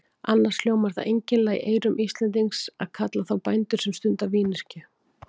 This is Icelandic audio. Annars hljómar það einkennilega í eyrum Íslendings að kalla þá bændur sem stunda vínyrkju.